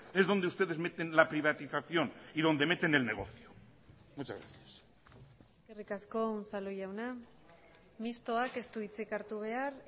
es donde ustedes meten la privatización y donde meten el negocio muchas gracias eskerrik asko unzalu jauna mistoak ez du hitzik hartu behar